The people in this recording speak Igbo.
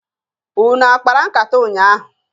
Unu a kpara nkata ụnyaahụ?